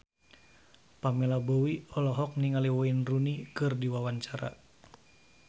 Pamela Bowie olohok ningali Wayne Rooney keur diwawancara